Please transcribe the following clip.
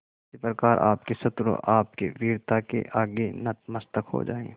उसी प्रकार आपके शत्रु आपकी वीरता के आगे नतमस्तक हो जाएं